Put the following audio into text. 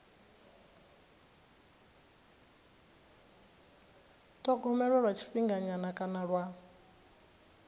thogomelwa lwa tshifhinganyana kana lwa